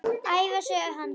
Ævisögu hans.